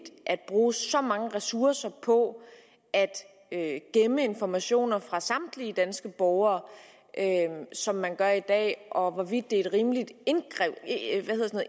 at bruge så mange ressourcer på at gemme informationer fra samtlige danske borgere som man gør i dag og hvorvidt det er et rimeligt